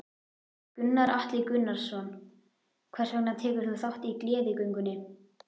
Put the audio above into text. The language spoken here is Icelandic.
Gunnar Atli Gunnarsson: Hvers vegna tekur þú þátt í Gleðigöngunni?